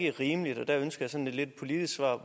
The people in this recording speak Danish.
er rimeligt og der ønsker sådan lidt politisk svar